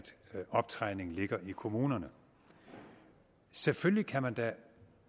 optræningen ligger i kommunerne selvfølgelig kan man da